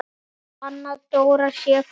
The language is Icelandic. Hvort Anna Dóra sé farin.